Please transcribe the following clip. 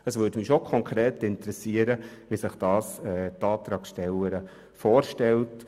Es würde mich schon interessieren, wie sich die Antragstellerin dies konkret vorstellt.